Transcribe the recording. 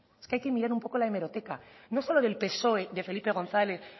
es que hay que mirar un poco la hemeroteca no solo del psoe de felipe gonzález